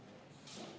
Läheme hääletuse juurde.